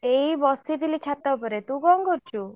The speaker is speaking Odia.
ଏଇ ବସିଥିଲି ଛାତ ଉପରେ ତୁ କଣ କରୁଛୁ?